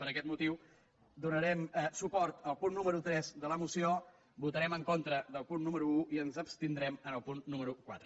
per aquest motiu donarem suport al punt número tres de la moció votarem en contra del punt número un i ens abstindrem en el punt número quatre